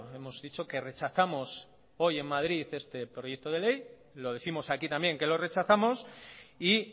hemos dicho que rechazamos hoy en madrid este proyecto de ley lo décimos aquí también que lo rechazamos y